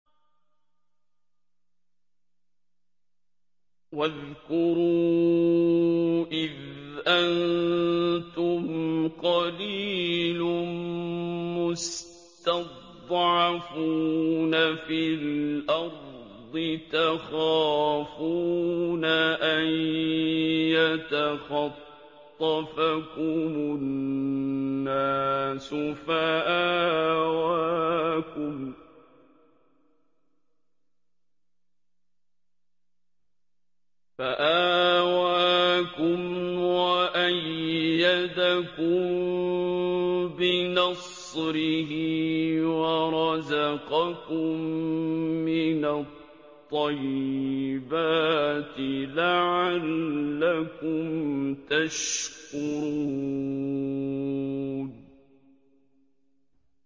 وَاذْكُرُوا إِذْ أَنتُمْ قَلِيلٌ مُّسْتَضْعَفُونَ فِي الْأَرْضِ تَخَافُونَ أَن يَتَخَطَّفَكُمُ النَّاسُ فَآوَاكُمْ وَأَيَّدَكُم بِنَصْرِهِ وَرَزَقَكُم مِّنَ الطَّيِّبَاتِ لَعَلَّكُمْ تَشْكُرُونَ